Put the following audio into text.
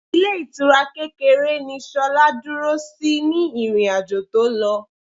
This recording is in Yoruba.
Ilé ìtura kékeré ni Ṣolá dúró sí ní ìrìn-àjò tó lọ.